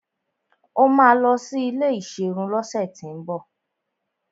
Ó máa lọ sí ilé ìserun lọ́sẹ̀tíbọ̀